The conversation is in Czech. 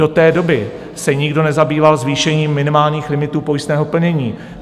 Do té doby se nikdo nezabýval zvýšením minimálních limitů pojistného plnění.